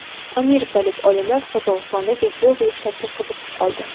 Amerikalik olimlar Qozog‘istondagi geogliflarga qiziqib qoldi.